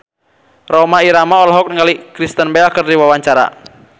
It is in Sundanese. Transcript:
Rhoma Irama olohok ningali Kristen Bell keur diwawancara